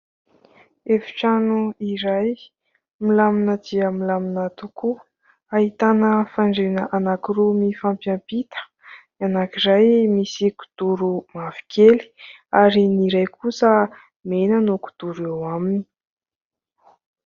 Efitrano iray, milamina dia milamina tokoa, ahitana fandriana anankiroa mifampiampita : ny anankiray misy kidoro mavokely ary ny iray kosa mena no kidoro eo aminy.